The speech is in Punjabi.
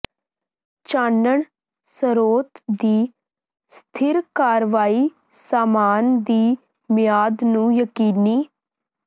ਚਾਨਣ ਸਰੋਤ ਦੀ ਸਥਿਰ ਕਾਰਵਾਈ ਸਾਮਾਨ ਦੀ ਮਿਆਦ ਨੂੰ ਯਕੀਨੀ